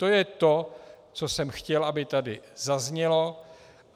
To je to, co jsem chtěl, aby tady zaznělo.